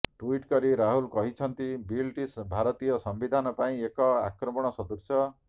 tweet କରି ରାହୁଲ କହିଛନ୍ତି ବିଲ୍ଟି ଭାରତୀୟ ସମ୍ବିଧାନ ପାଇଁ ଏକ ଆକ୍ରମଣ ସଦୃଶ